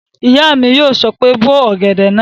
Ìyá mi yóò sọ pé "bó ọ̀gẹ̀dẹ̀ náà!"